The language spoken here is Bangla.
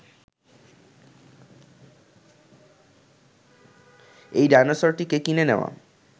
এই ডায়নোসরটিকে কিনে নেয়া